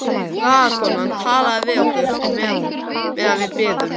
Blaðakonan talaði við okkur meðan við biðum.